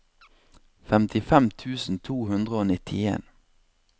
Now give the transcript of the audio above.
femtifem tusen to hundre og nittien